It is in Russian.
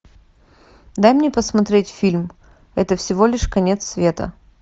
дай мне посмотреть фильм это всего лишь конец света